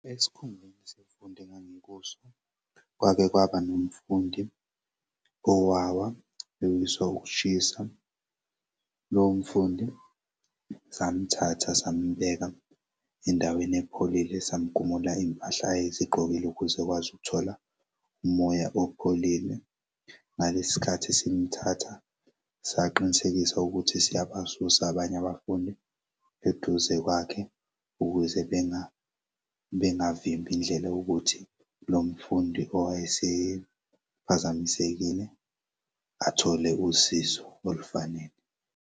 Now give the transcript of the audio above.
Esikhungweni sezemfundo engikuso kwake kwaba nomfundi owawa ewiswa ukushisa lomfundi samthatha sambeka endaweni epholile sam'gumula iy'mpahla ayezigqokile ukuze ukwazi ukuthola umoya opholile Ngalesi sikhathi simthatha saqinisekisa ukuthi siyabasusa abanye abafundi eduze kwakhe ukuze bengavimbi indlela yokuthi lo mfundi owayesephazamisekile athole usizo olufanele.